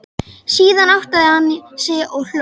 Síðan áttaði hann sig og hló.